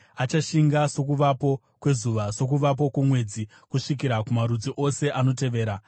Achashinga sokuvapo kwezuva, sokuvapo kwomwedzi, kusvikira kumarudzi ose anotevera,